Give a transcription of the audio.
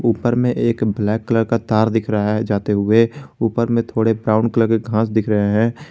ऊपर मैं एक ब्लैक कलर का तार दिख रहा है जाते हुए ऊपर में थोड़े ब्राउन कलर के घास दिख रहे हैं।